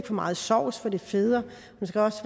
for meget sovs for det feder